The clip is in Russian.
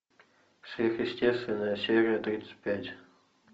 сверхъестественное серия тридцать пять